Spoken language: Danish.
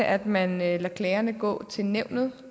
at man lader klagerne gå til nævnet